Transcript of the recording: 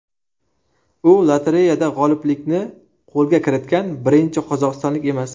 U lotereyada g‘oliblikni qo‘lga kiritgan birinchi qozog‘istonlik emas.